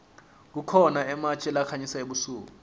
kukhona ematje lakhanyisa ebusuku